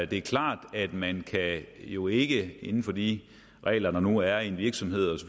det er klart at man jo ikke inden for de regler der nu er i en virksomhed og